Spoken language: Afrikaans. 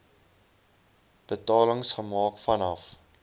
betalings gemaak vanaf